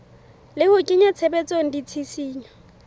le ho kenya tshebetsong ditshisinyo